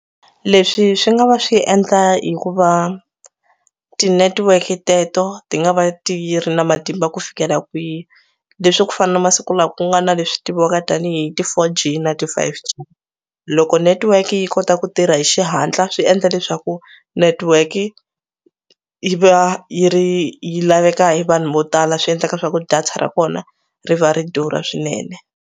Leswi swi nga va swi endla hikuva tinetiweke teto ti nga va ti ri na matimba ku fikela kwihi leswi ku fana na masiku lawa ku nga na leswi tiviwaka tanihi ti 4G na ti 5G. Loko netiweki yi kota ku tirha hi xihatla swi endla leswaku netetiweki yi va yi ri yi laveka hi vanhu vo tala swi endlaka swaku data ra kona ri va ri durha swinene.